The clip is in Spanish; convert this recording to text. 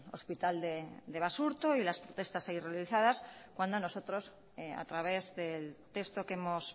hospital de basurto y las protestas ahí realizadas cuando nosotros a través del texto que hemos